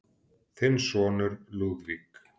Þinn sonur, Lúðvík.